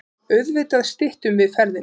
Auðvitað styttum við ferðina.